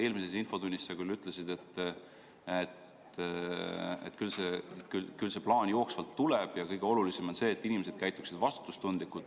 Eelmises infotunnis sa ütlesid, et küll see plaan jooksvalt tuleb ja et kõige olulisem on see, et inimesed käituksid vastutustundlikult.